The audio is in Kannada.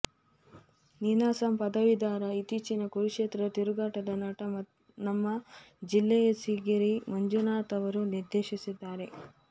ನೀನಾಸಂ ಪದವೀಧರ ಇತ್ತೀಚಿನ ಕುರುಕ್ಷೇತ್ರ ತಿರುಗಾಟದ ನಟ ನಮ್ಮ ಜಿಲ್ಲೆಯಸಿರಿಗೇರಿ ಮಂಜುನಾಥ್ ಅವರು ನಿರ್ದೇಶಿಸಿದ್ದಾರೆ